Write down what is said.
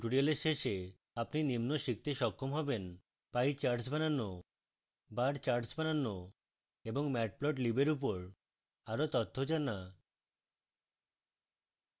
at tutorial শেষে আপনি নিম্ন শিখতে সক্ষম হবেন: